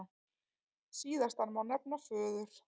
Síðastan má nefna föður